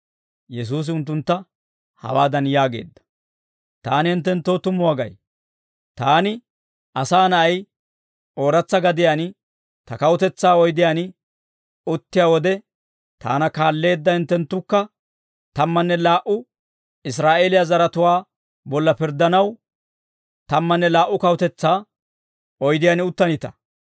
Yesuusi unttuntta hawaadan yaageedda; «Taani hinttenttoo tumuwaa gay; taani, Asaa Na'ay, ooratsa gadiyaan ta kawutetsaa oydiyaan uttiyaa wode, taana kaalleedda hinttenttukka tammanne laa"u Israa'eeliyaa zaratuwaa bolla pirddanaw, tammanne laa"u kawutetsaa oydiyaan uttanita.